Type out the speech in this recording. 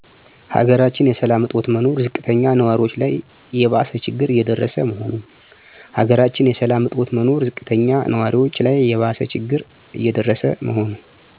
የሀገራችን የሰላም እጦት መኖር ዝቅተኛ ንዋሪዎች ላይ የባሰ ችግር እየደረሰ መሆኑ